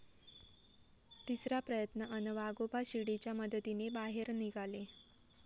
तिसरा प्रयत्न अन् वाघोबा शिडीच्या मदतीने बाहेर निघाले